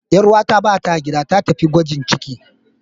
Ƴar uwata bata gida, ta tafi gwajin ciki.